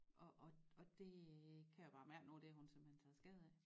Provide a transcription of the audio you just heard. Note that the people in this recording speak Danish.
Og og og det kan jeg bare mærke nu det har hun simpelthen taget skade af